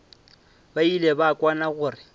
ba ile ba kwana gore